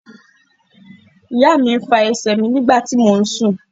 Ìyá mi fa ẹsẹ̀ mi nígbà tí mò ún sùn